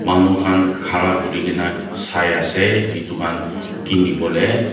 manu khan kharakurigena sai ase itu khan kiniwole.